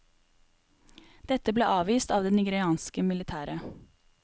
Dette ble avvist av det nigerianske militæret.